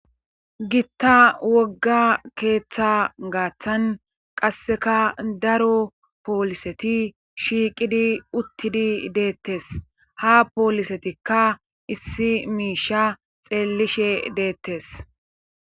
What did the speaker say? gitta wogga keeththa gaaththan qasseka daro pooliseti shiiqidi uttidi deettes ha poolisetikka issi miisha xeellishe deettes